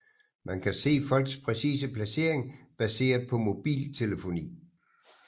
Man kan se folks præcise placering baseret på mobiltelefoni